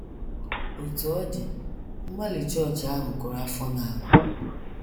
Otú ọ dị, mgbalị chọọchị ahụ kụrụ afọ n’ala.